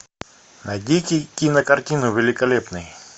найдите кинокартину великолепный